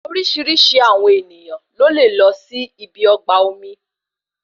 Orísirísi àwọn ènìyàn ló lè lọ sí ibi ọgbà omi